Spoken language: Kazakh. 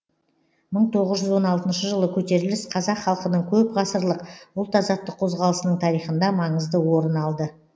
мың тоғыз жүз он алтыншы жылы көтеріліс қазақ халқының көп ғасырлық ұлт азаттық қозғалысының тарихында маңызды орын алды